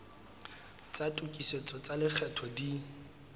tsa tokisetso tsa lekgetho di